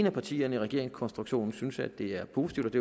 af partierne i regeringskonstruktionen synes at det er positivt